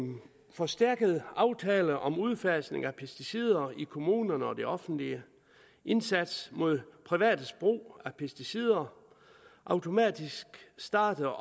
forstærkede aftaler om udfasning af pesticider i kommunerne og det offentlige indsats mod privates brug af pesticider automatisk startede